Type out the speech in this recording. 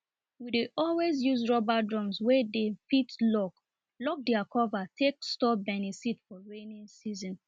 we dey always use rubber drums wey dey fit lock lock their cover take store beniseed for rainy season